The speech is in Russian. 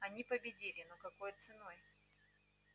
они победили но какой ценой